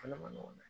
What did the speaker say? Fana man nɔgɔn dɛ